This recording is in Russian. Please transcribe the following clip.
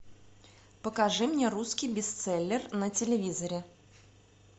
покажи мне русский бестселлер на телевизоре